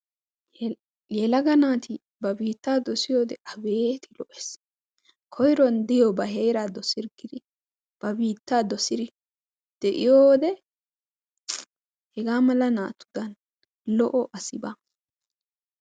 Yelaga naati ba biittaa dossiyoode aybbeeti lo"ess! Koyruwaan diyo ba heera dossirggidi ba biittaa dossir de'iyoode hega mala naatudan lo"o asi baa.